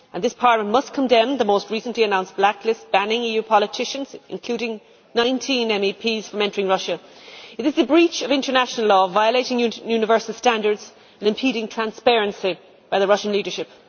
This Parliament must condemn the most recently announced blacklist banning EU politicians, including 19 MEPs, from entering Russia. It is a breach of international law, violating universal standards and impeding transparency by the Russian leadership.